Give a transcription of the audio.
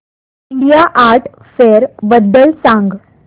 India art fair बद्दल सांग